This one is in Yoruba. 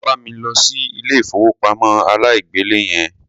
Wá bá mi lọ sí ilé ìfowópamọ́ aláìgbèlé yẹn.